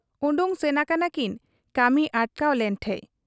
ᱚᱰᱚᱠ ᱥᱮᱱ ᱟᱠᱟᱱᱟᱠᱤᱱ ᱠᱟᱹᱢᱤ ᱚᱴᱠᱟᱣ ᱞᱮᱱ ᱴᱷᱮᱫ ᱾